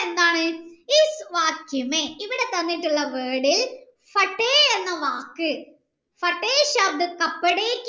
Eden ഇവിടെ തന്നിട്ടുള്ള word എന്ന വാക്